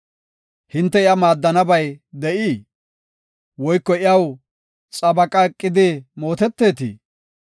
Hinte iya maaddiyabay de7ii? Woyko iyaw xabaqa eqidi mootetetii?